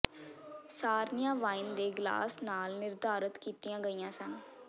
ਸਾਰਣੀਆਂ wine ਦੇ glass ਨਾਲ ਨਿਰਧਾਰਤ ਕੀਤੀਆਂ ਗਈਆਂ ਸਨ